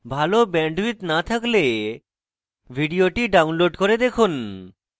ভাল bandwidth না থাকলে ভিডিওটি download করে দেখুন